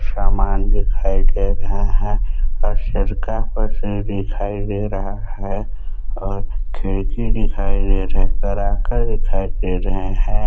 समान दिखाई दे रहा है और सिरका दिखाई दे रहा है और खिड़की दिखाई दे रहे करा कर दिखाई दे रहे हैं।